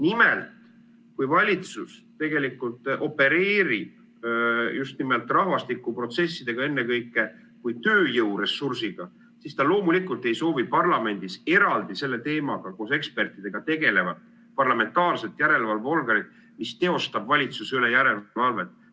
Nimelt, kui valitsus opereerib rahvastikuprotsessidega ennekõike kui tööjõuressursiga, siis ta loomulikult ei soovi parlamendis eraldi selle teemaga koos ekspertidega tegelevat parlamentaarset järelevalveorganit, mis teostab valitsuse üle järelevalvet.